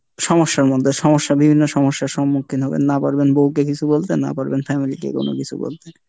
সমস্যার মধ্যে, সমস্যা বিভিন্ন সমস্যার সম্মুখীন হবেন, না পারবেন বউকে কিছু বলতে না পারবেন family কে কোনো কিছু বলতে।